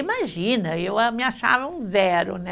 Imagina, eu ah, me achava um zero, né?